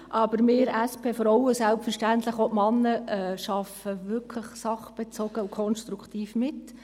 Aber wir SP-Frauen und selbstverständlich auch die -Männer arbeiten wirklich sachbezogen und konstruktiv mit.